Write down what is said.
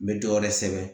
N bɛ dɔ wɛrɛ sɛbɛn